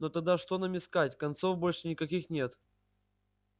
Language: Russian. но тогда что нам искать концов больше никаких нет